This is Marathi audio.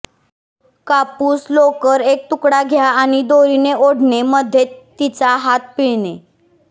कापूस लोकर एक तुकडा घ्या आणि दोरीने ओढणे मध्ये तिचा हात पिळणे